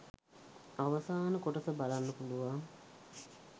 අවසාන කොටස බලන්න පුළුවන්.